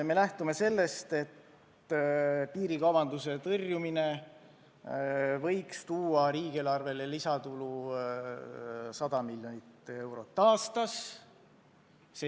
Me lähtume sellest, et piirikaubanduse tõrjumine võiks tuua riigieelarvesse lisatulu 100 miljonit eurot aastas.